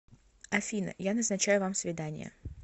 афина я назначаю вам свидание